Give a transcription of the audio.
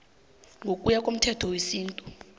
ngokuya ngomthetho wesintu